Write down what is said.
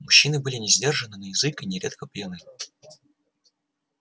мужчины были несдержанны на язык и нередко пьяны